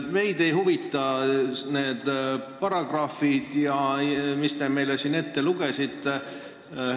Meid ei huvita need paragrahvid, mis te meile siin ette lugesite.